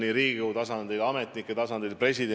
Ei, see ei ole paremäärmuslik valitsus – kindlasti ei ole!